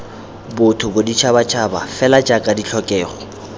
botho boditšhabatšhaba fela jaaka ditlhokego